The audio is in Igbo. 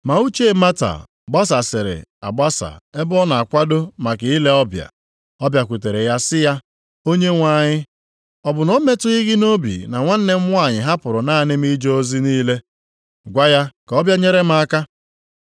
Ma uche Mata gbasasịrị agbasa ebe ọ na-akwado maka ile ọbịa. Ọ bịakwutere ya sị ya, “Onyenwe anyị, ọ bụ na o metụghị gị nʼobi na nwanne m nwanyị hapụrụ naanị m ije ozi niile? Gwa ya ka ọ bịa nyere m aka.”